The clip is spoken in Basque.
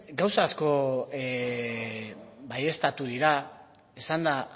gauza asko baieztatu dira esan da